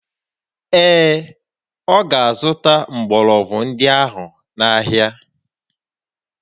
Ee, ọ ga-azụta mgbọrọgwụ ndị ahụ n'ahịa